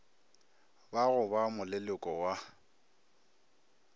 ba go ba moleloko wa